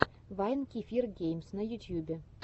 вайн кефир геймс на ютьюбе